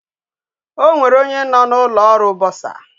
Onwere onye no na ulo oru bursar